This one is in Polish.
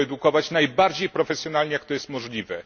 I to edukować najbardziej profesjonalnie, jak to jest możliwe.